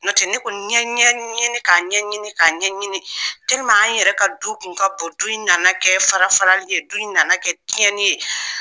N nɔtɛ ne kɔni, n ye ɲɛ ɲini k'a ɲɛ ɲɲini k'a ɲɛɲini an yɛrɛ ka du kun ka bon, du nana kɛ farafarali ye, du nana kɛ tiɲɛnni ye!